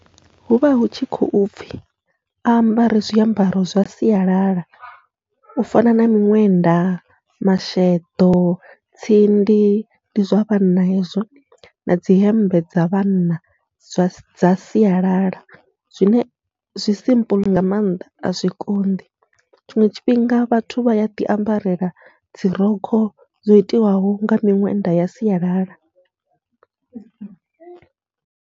Huvha hu tshi khou pfhi a ambare zwiambaro zwa sialala u fana na miṅwenda, masheḓo, tsindi ndi zwa vhanna hezwo na dzi hemmbe dza vhanna zwa dza sialala, zwine zwi simple nga maanḓa azwi konḓi tshiṅwe tshifhinga vhathu vha yaḓi ambarela dzi rokho dzo itiwaho nga miṅwenda ya sialala.